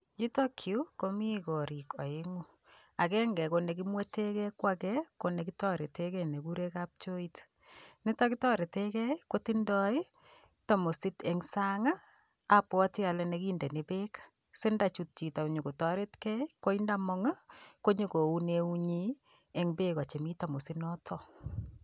Yutok yu komii korik aeng'u, agenge ko negimwete gei, ko age ko negitoretegei nekigure kapchoit. Nitok kitoretegei kotindoi tamosit eng' sang' abwati ale nekindeni peek sindachut chito nyikotoretgei, koindamang' konyigo oun keut nyin eng' peek chemii tamosit notok.